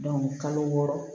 kalo wɔɔrɔ